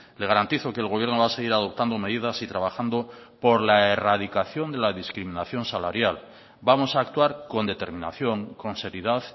le garantizo que el gobierno va a seguir adoptando medidas y trabajando por la erradicación de la discriminación salarial vamos a actuar con determinación con seriedad